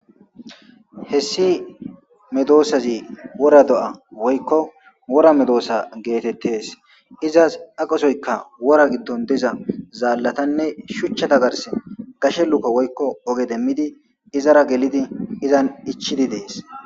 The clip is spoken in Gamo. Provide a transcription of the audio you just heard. hessi medoosazi wora do7a woykko wora medoosa geetettes izas aqosoyka wora giddon deza zaallatanne shuchchata garse gashe luka woykko oge demmidi izara gelidi izan ichidi dees